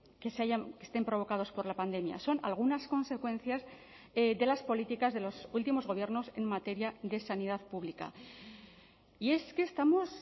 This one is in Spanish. que estén provocados por la pandemia son algunas consecuencias de las políticas de los últimos gobiernos en materia de sanidad pública y es que estamos